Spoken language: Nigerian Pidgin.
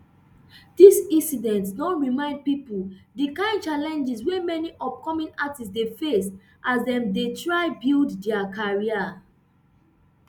dis incident don remind pipo di kain challenges wey many upcoming artistes dey face as dem dey try build dia career